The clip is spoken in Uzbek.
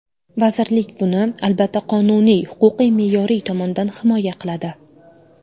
Vazirlik buni, albatta, qonuniy, huquqiy-me’yoriy tomondan himoya qiladi.